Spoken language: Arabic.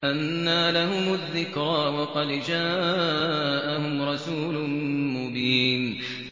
أَنَّىٰ لَهُمُ الذِّكْرَىٰ وَقَدْ جَاءَهُمْ رَسُولٌ مُّبِينٌ